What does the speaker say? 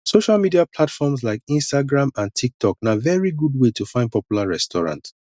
social media platforms like instagram and tiktok na very good way to find popular restaurant